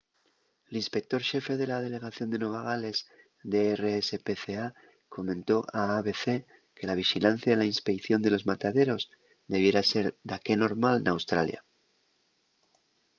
l’inspector xefe de la delegación de nueva gales de rspca comentó a abc que la vixilancia y inspeición de los mataderos debiera ser daqué normal n’australia